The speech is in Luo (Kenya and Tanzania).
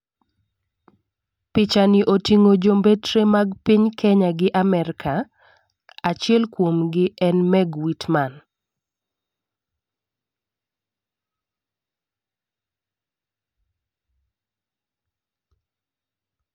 Picha ni oting'o jombetre mag piny kenya gi Amerka achiel kuom gi en Meg Witman